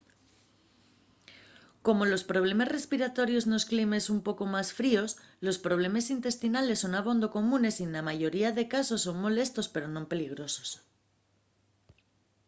como los problemes respiratorios nos climes un poco más fríos los problemes intestinales son abondo comunes y na mayoría de casos son molestos pero non peligrosos